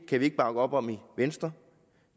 kan vi ikke bakke op om i venstre